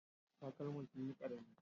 Takalman sunyi ƙarami